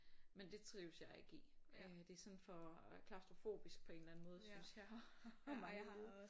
Men det trives jeg ikke i øh det er sådan for klaustrofobisk på en eller anden måde synes jeg og mange lyde